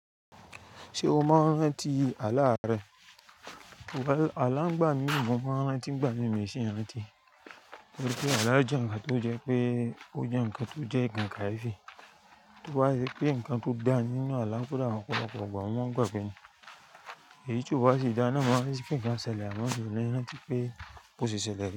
Ṣé o maa n rántí àalà rẹ? Àlà ń gbà mí, mọ maa n rántí n gbàmí mì o si n rantì. Nítorí àlà jẹ nǹkan tó jẹ pé ó jẹ nǹkan tó jẹ nǹkan kayéfi To bá ṣe pé nǹkan tó dá nínú àlà kò dá ọ̀pọ̀lọ̀pọ̀ igbà mo maa n gbàgbe ni. Èyí tí ó wá sì dá na mọ́ maa n rántí pé nǹkan ṣẹlẹ̀ amọ́ mi o rántì pé bóṣe ṣẹlẹ̀ re.